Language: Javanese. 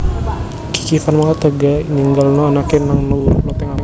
Kiki Fatmala tega ninggalno anake nang dhuwur loteng omah